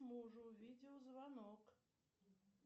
мужу видеозвонок